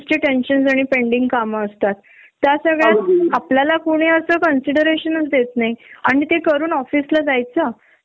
त्यामुळ ती मुलांची होणारी चिडचिड ती वेगळी जर तुमचे सासू सासरे असतील त्यांचे काहीतरी फिजिकल प्रॉब्लेम असतात